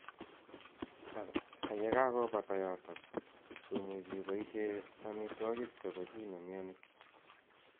Ako ye kakobata yotok ,komuchi ibaishee amitwakiki che boo chii ne myanii.